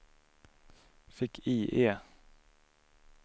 fick-IE